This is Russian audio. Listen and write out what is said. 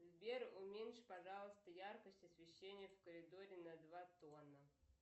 сбер уменьши пожалуйста яркость освещения в коридоре на два тона